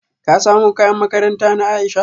Ka samo kayan makaranta na Aisha?